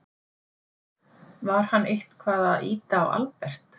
Var hann eitthvað að ýta á Albert?